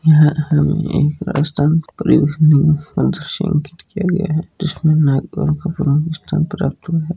यहा हमें राजस्थान परिवहन अंकित किया गया है और बसे दिखाई दे रही है।